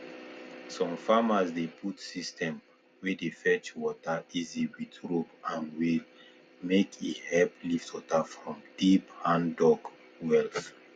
some farmers dey put system wey dey fetch water easy with rope and wheel make e help lift water from deep handdug wells